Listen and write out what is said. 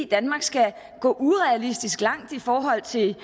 danmark skal gå urealistisk langt i forhold til